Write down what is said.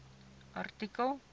artikel